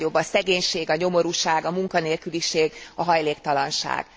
Egyre nagyobb a szegénység, a nyomorúság, a munkanélküliség, a hajléktalanság.